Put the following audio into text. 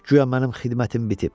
Guya mənim xidmətim bitib.